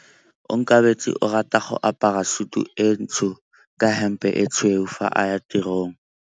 Onkabetse o rata go apara sutu e ntsho ka hempe e tshweu fa a ya tirong.